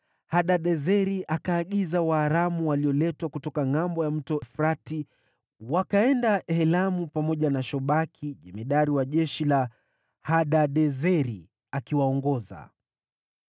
Hadadezeri akaagiza Waaramu walioletwa kutoka ngʼambo ya Mto Frati, wakaenda Helamu pamoja na Shobaki jemadari wa jeshi la Hadadezeri akiwaongoza.